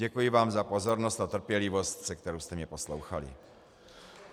Děkuji vám za pozornost a trpělivost, se kterou jste mě poslouchali.